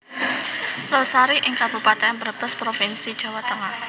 Losari ing Kabupaten Brebes Provinsi Jawa Tengah